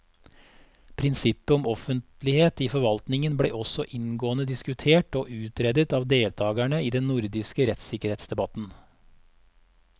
Prinsippet om offentlighet i forvaltningen ble også inngående diskutert og utredet av deltakerne i den nordiske rettssikkerhetsdebatten.